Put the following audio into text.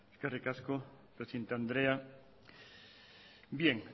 eskerrik asko presidente andrea bien